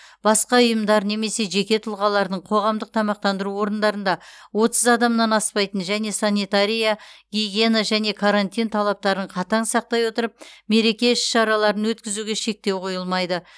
басқа ұйымдар немесе жеке тұлғалардың қоғамдық тамақтандыру орындарында отыз адамнан аспайтын және санитария гигиена және карантин талаптарын қатаң сақтай отырып мереке іс шараларын өткізуге шектеу қойылмайды